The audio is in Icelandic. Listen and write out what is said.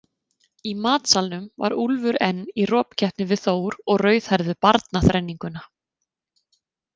Í matsalnum var Úlfur enn í ropkeppni við Þór og rauðhærðu barnaþrenninguna.